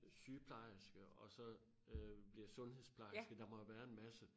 Sygeplejerske og så øh bliver sundhedsplejerske der må jo være en masse